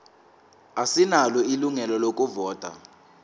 asinalo ilungelo lokuvota